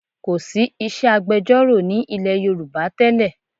Kòsí iṣẹ́ agbẹjọ́rò ní ilẹ̀ Yorùbá tẹ́lẹ̀